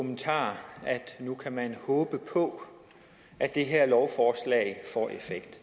at man nu kan håbe på at det her lovforslag får effekt